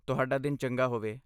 ਤੁਹਾਡਾ ਦਿਨ ਚੰਗਾ ਹੋਵੇ!